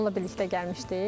Onunla birlikdə gəlmişdik.